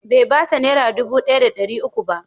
Bai ba ta Naira dubu ɗaya da ɗari uku ba.